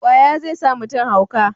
ƙwaya zai sa mutum hauka